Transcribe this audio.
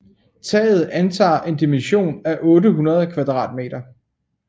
Taget antager en dimension af 800 kvadratmeter